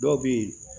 Dɔw bɛ ye